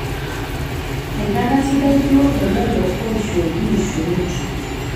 Enkata sidai duo te lelo oishooki nkishorot